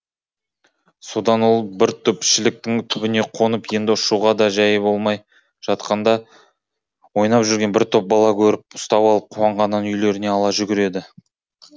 содан ол бір түп шіліктің түбіне қонып енді ұшуға да жәйі болмай жатқанда ойнап жүрген бір топ бала көріп ұстап алып қуанғаннан үйлеріне ала жүгіреді